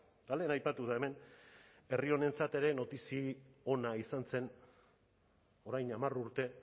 eta lehen aipatu da hemen herri honentzat ere notizia ona izan zen orain hamar urte